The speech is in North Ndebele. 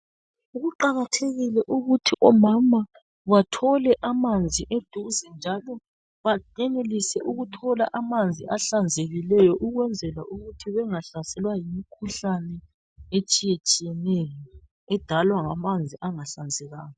Kuqakathekile ukuthi omama bathole amanzi eduze njalo bayenelise ukuthola amanzi ahlanzekileyo ukwenzela ukuthi bengahlaselwa yi mkhuhlane etshiyetshiyeneyo edalwa ngamanzi angahlanzekanga .